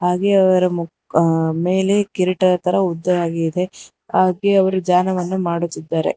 ಹಾಗೆ ಅವರ ಮು ಆ ಮೇಲೆ ಕಿರೀಟ ತರ ಉದ್ದವಾಗಿದೆ ಹಾಗೆ ಅವರು ದ್ಯಾನವನ್ನು ಮಾಡುತ್ತಿದ್ದಾರೆ.